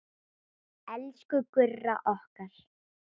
Elsku Gurra okkar.